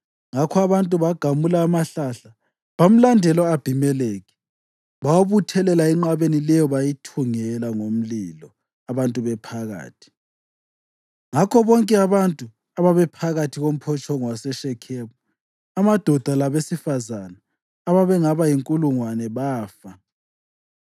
Ngakho abantu bagamula amahlahla bamlandela u-Abhimelekhi. Bawabuthelela enqabeni leyo bayithungela ngomlilo abantu bephakathi. Ngakho bonke abantu ababephakathi komphotshongo waseShekhemu, amadoda labesifazane ababengaba yinkulungwane bafa.